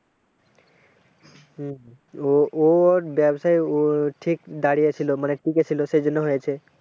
হম ও ওর ব্যবসায় ঠিক দাঁড়িয়েছিল মানে টিকে ছিল সেই জন্য হয়েছে।